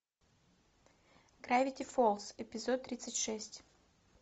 гравити фолз эпизод тридцать шесть